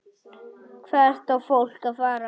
Hvert á fólk að fara?